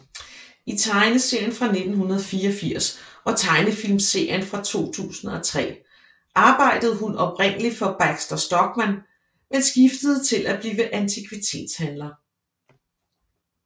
I tegneserien fra 1984 og tegnefilmserien fra 2003 arbejdede hun oprindelig for Baxter Stockman men skiftede til at blive antikvitetshandler